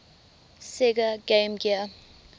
sega game gear